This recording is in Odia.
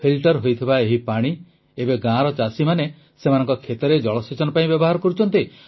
ଫିଲ୍ଟର ହୋଇଥିବା ଏହି ପାଣି ଏବେ ଗାଁର ଚାଷୀମାନେ ସେମାନଙ୍କ କ୍ଷେତରେ ଜଳସେଚନ ପାଇଁ ବ୍ୟବହାର କରୁଛନ୍ତି